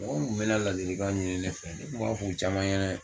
Mɔgɔ mu kun be na ladilikanw ɲini ne fɛ ne kun b'a fɔ i caman ɲɛnɛ